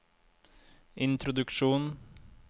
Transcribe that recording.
introduksjon